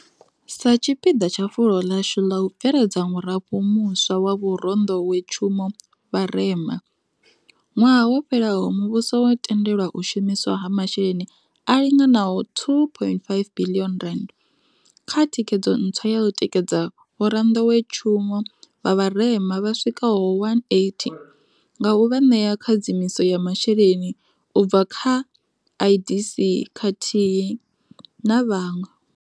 Sa tshipiḓa tsha fulo ḽashu ḽa u bveledza murafho muswa wa vhoranḓowetshumo vha vharema, ṅwaha wo fhelaho muvhuso wo tendela u shumiswa ha masheleni a linganaho R2.5 biḽioni kha thikedzo ntswa ya u tikedza vhoranḓowetshumo vha vharema vha swikaho 180 nga u vha ṋea khadzimiso ya masheleni u bva kha vha IDC khathihi na vhaṅwe.